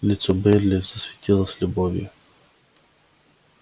лицо байерли засветилось любовью